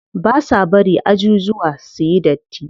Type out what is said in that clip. Ba sa bari ajujuwa suyi datti.